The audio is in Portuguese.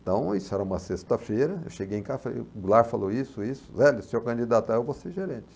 Então, isso era uma sexta-feira, eu cheguei em casa e falei, o Goulart falou isso, isso, se eu candidatar eu vou ser gerente.